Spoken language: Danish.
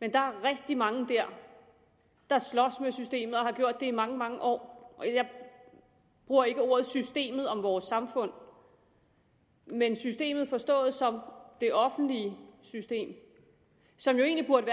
men der er rigtig mange der der slås med systemet og har gjort det i mange mange år jeg bruger ikke ordet systemet om vores samfund men systemet forstået som det offentlige system som jo egentlig burde